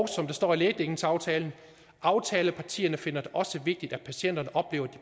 som der står i lægedækningsaftalen aftalepartierne finder det også vigtigt at patienterne oplever at